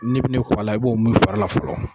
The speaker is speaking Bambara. N'i bi ni ko a la, i b'o mun i fari la fɔlɔ.